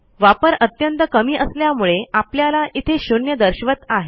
वापर अत्यंत कमी असल्यामुळे आपल्याला इथे शून्य दर्शवत आहे